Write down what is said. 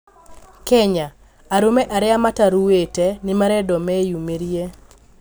Kenya: arũme arĩa mataruĩte nĩmarendwo menyũmĩrie